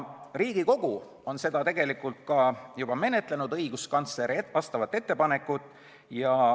Riigikogu on seda õiguskantsleri ettepanekut tegelikult juba ka menetlenud.